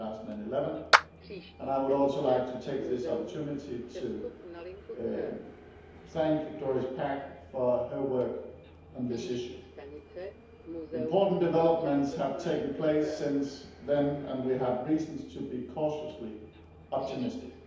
2011. I would also like to take this opportunity to thank Doris Pack for her work on this issue. Important developments have taken place since then, and we have reason to be cautiously optimistic.